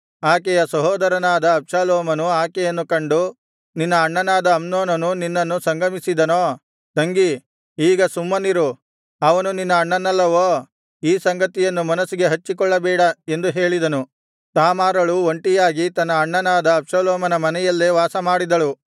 ಆಕೆಯ ಸಹೋದರನಾದ ಅಬ್ಷಾಲೋಮನು ಆಕೆಯನ್ನು ಕಂಡು ನಿನ್ನ ಅಣ್ಣನಾದ ಅಮ್ನೋನನು ನಿನ್ನನ್ನು ಸಂಗಮಿಸಿದನೋ ತಂಗಿ ಈಗ ಸುಮ್ಮನಿರು ಅವನು ನಿನ್ನ ಅಣ್ಣನಲ್ಲವೋ ಈ ಸಂಗತಿಯನ್ನು ಮನಸ್ಸಿಗೆ ಹಚ್ಚಿಕೊಳ್ಳಬೇಡ ಎಂದು ಹೇಳಿದನು ತಾಮಾರಳು ಒಂಟಿಯಾಗಿ ತನ್ನ ಅಣ್ಣನಾದ ಅಬ್ಷಾಲೋಮನ ಮನೆಯಲ್ಲೇ ವಾಸಮಾಡಿದಳು